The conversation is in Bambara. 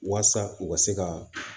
Walasa u ka se ka